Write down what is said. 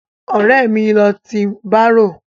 Ọ̀rẹ́ mi ló ti bárò.